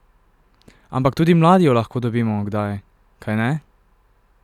Ampak tudi mladi jo lahko dobimo kdaj, kajne?